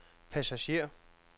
passager